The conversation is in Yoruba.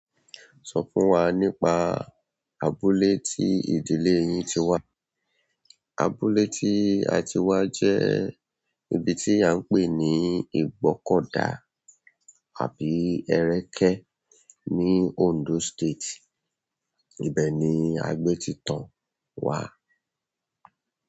Sọ fún wa nípa abúlé tí ìdílé yín ti wá. Abúlé tí a ti wá jẹ́ ibi tí a ń pè ní Ìgbọ́kọ̀dà àbí Ẹ̀rẹ́kẹ́ ní Ondo State. Ibẹ̀ ni a gbé ti tan wá.